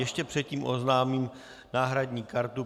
Ještě předtím oznámím náhradní kartu.